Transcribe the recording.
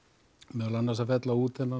meðal annars að fella út